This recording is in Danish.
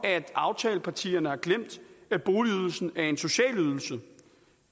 aftalepartierne har glemt at boligydelsen er en social ydelse